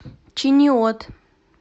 чиниот